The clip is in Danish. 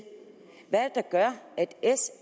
hvad er det der gør at sf